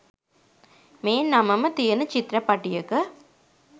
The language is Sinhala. මේ නමම තියෙන චිත්‍රපටියක